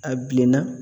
A bilenna